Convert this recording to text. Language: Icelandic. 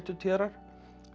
téðrar